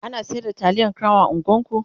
ana sayar da taliyan crown a unguwan ku?